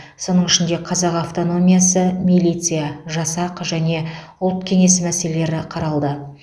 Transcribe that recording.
соның ішінде қазақ автономиясы милиция жасақ және ұлт кеңесі мәселелерін қаралды